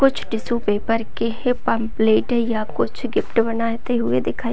कुछ tissue paper की है पंपलेट है या कुछ गिफ्ट बनाते हुए दिखाई दे --